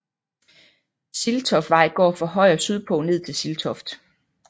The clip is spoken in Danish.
Siltoftvej går fra Højer sydpå ned til Siltoft